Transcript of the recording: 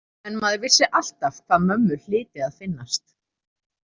En maður vissi alltaf hvað mömmu hlyti að finnast.